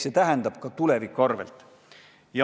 See tähendab ka elamist tuleviku arvel.